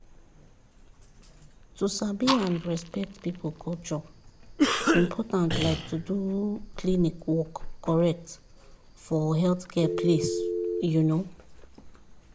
to sabi and respect people culture important like to do klinik work correct for healthcare place. um